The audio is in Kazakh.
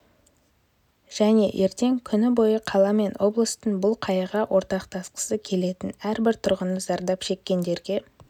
және ертең күні бойы қала мен облыстың бұл қайғыға ортақтасқысы келетін әрбір тұрғыны зардап шеккендерге